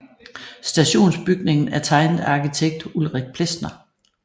Stationsbygningen er tegnet af arkitekt Ulrik Plesner